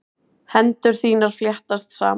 Hendur þínar fléttast saman.